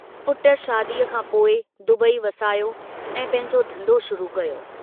पुट शादीअ खां पोइ दुबई वसायो ऐं पंहिंजो धन्धो शुरू कयो।